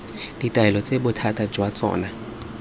ditaelo tse bothata jwa tsona